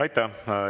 Aitäh!